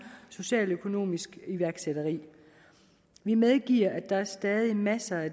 socialøkonomisk iværksætteri vi medgiver at der stadig er masser at